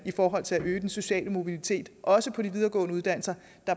i forhold til at øge den sociale mobilitet også på de videregående uddannelser